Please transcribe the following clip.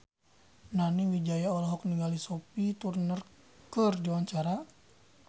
Nani Wijaya olohok ningali Sophie Turner keur diwawancara